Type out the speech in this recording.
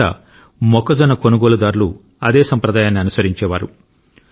బహుశా మొక్కజొన్న కొనుగోలుదారులు అదే సంప్రదాయాన్ని అనుసరించేవారు